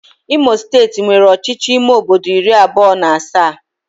Imo steeti nwere ọchịchị ime obodo iri abụọ na asaa